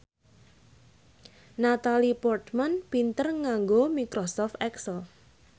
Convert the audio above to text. Natalie Portman pinter nganggo microsoft excel